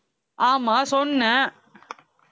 ஆமா சொன்னே